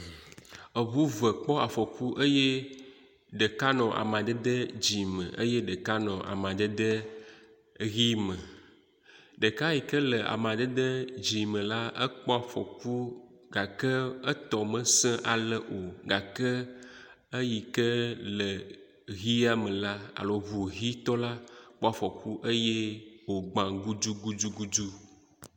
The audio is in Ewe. Eŋu ve kpɔ afɔku eye ɖeka nɔ amadede dzɛ̃ me eye ɖeka nɔ amadede ʋi me. Ɖeka yi ke le amadede dzɛ̃ me la ekpɔ afɔku gake etɔ mesesẽ o gake eyi ke le hia me alo ŋu hitɔ la kpɔ afɔku eye wogbã gudugudu.